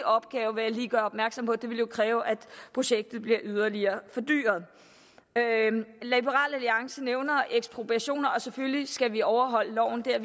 opgave vil jeg lige gøre opmærksom på det vil jo kræve at projektet bliver yderligere fordyret liberal alliance nævner ekspropriationer og selvfølgelig skal vi overholde loven vi er